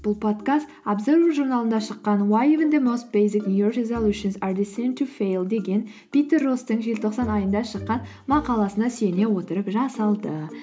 бұл подкаст абзервер журналында шыққан деген питер росстың желтоқсан айында шыққан мақаласына сүйене отырып жасалды